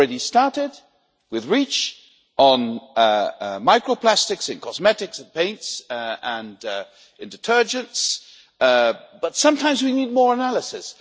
We've already started with REACH on micro plastics in cosmetics, paints and in detergents, but sometimes we need more analysis.